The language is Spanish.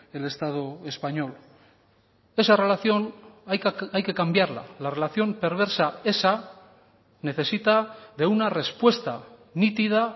el estado español esa relación hay que cambiarla la relación perversa esa necesita de una respuesta nítida